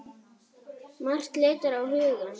Margt leitar á hugann.